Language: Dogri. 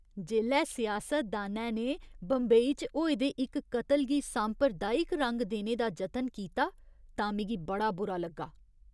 जेल्लै सियासतदानै ने बंबई च होए दे इक कत्ल गी सांप्रदायिक रंग देने दा जतन कीता तां मिगी बड़ा बुरा लग्गा।